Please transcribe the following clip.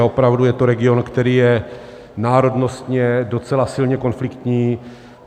A opravdu je to region, který je národnostně docela silně konfliktní.